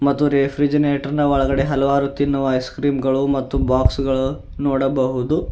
ತ್ತು ರೆಫ್ರಿಜನೆಟರ್ ನ ಒಳಗಡೆ ಹಲವಾರು ತಿನ್ನುವ ಐಸಕ್ರೀಮ್ ಗಳು ಮತ್ತು ಬಾಕ್ಸ್ ಗಳು ನೋಡಬಹುದು.